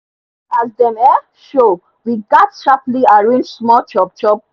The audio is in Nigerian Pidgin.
as dem um show we gats sharply arrange small chop chop